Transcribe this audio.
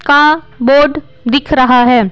का बोर्ड दिख रहा है।